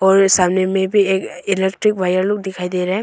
और सामने मे भी ये इलेक्ट्रिक वायर लोग दिखाई दे रहे--